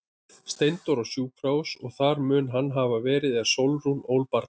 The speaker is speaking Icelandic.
Steindór á sjúkrahús og þar mun hann hafa verið er Sólrún ól barnið.